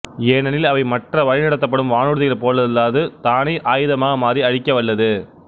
ஏனெனில் அவை மற்ற வழிநடத்தப்படும் வானூர்திகள் போலல்லாது தானே ஆயுதமாக மாறி அழிக்கவல்லது